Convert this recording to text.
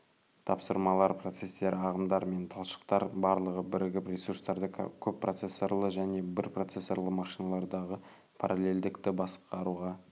тапсырмалар процестер ағымдар мен талшықтар барлығы бірігіп ресурстарды көппроцессорлы және бірпроцессорлы машиналардағы параллельділікті басқаруға